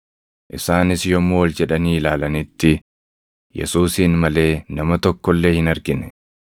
Isaanis yommuu ol jedhanii ilaalanitti Yesuusin malee nama tokko illee hin argine.